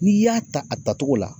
N'i y'a ta a tatogo la